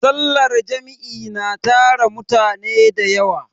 sallar Jam'i na tara mutane da yawa